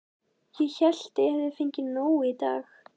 Ég hélt að hann hefði fengið nóg í dag.